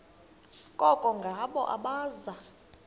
koko ngabo abaza